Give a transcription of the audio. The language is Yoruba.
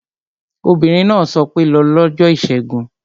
Obìnrin náà sọ pé 'lọ lọ́jọ́ ìṣẹ́gun